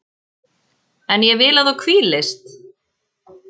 En ég vil að þú hvílist.